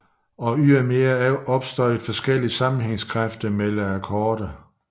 Og ydermere opstår der forskellig sammenhængskræfter mellem akkorder